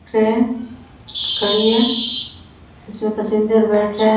Train खड़ी है। इसमें पसेंजर बैठ रहे --